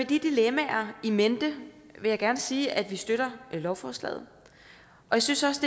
de dilemmaer in mente vil jeg gerne sige at vi støtter lovforslaget og jeg synes også